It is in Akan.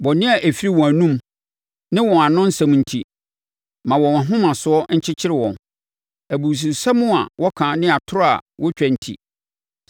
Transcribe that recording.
Bɔne a ɛfiri wɔn anomu, ne wɔn ano nsɛm enti ma wɔn ahomasoɔ nkyekyere wɔn. Abususɛm a wɔka ne atorɔ a wɔtwa enti,